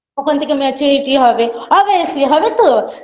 ওখান থেকে maturity হবে obviously হবে তো